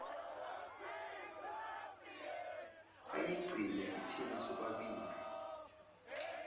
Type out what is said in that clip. ayigcine kithina sobabili